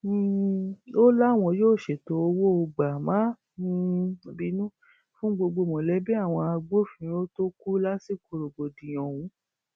um ó láwọn yóò ṣètò owó gbà má um bínú fún gbogbo mọlẹbí àwọn agbófinró tó kù lásìkò rògbòdìyàn ọhún